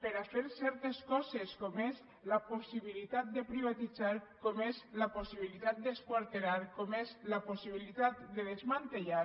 per a fer certes coses com és la possibilitat de privatitzar com és la possibilitat d’esquarterar com és la possibilitat de desmantellar